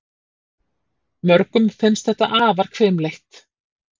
Mörgum finnst þetta afar hvimleitt.